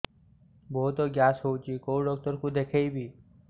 ବହୁତ ଗ୍ୟାସ ହଉଛି କୋଉ ଡକ୍ଟର କୁ ଦେଖେଇବି